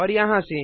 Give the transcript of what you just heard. और यहाँ से